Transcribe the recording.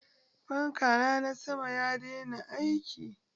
Fankana na sama ya daina aiki.